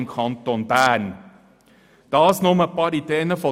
Dies sind nur ein paar Ideen vonseiten der glp.